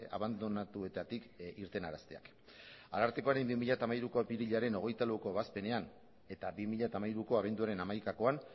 abandonatuetatik irtenarazteak arartekoaren bi mila hamairuko apirilaren hogeita laueko ebazpenean eta bi mila hamairuko abenduaren hamaikakoan